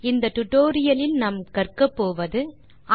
இந்த டுடோரியலின் முடிவில் உங்களால் பின் வருவனவற்றை செய்ய முடியும்